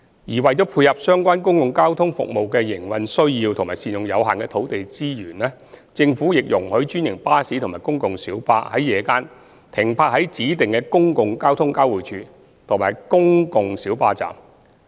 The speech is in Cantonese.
而為配合相關公共交通服務的營運需要及善用有限的土地資源，政府亦容許專營巴士及公共小巴在夜間停泊在指定的公共交通交匯處及公共小巴站。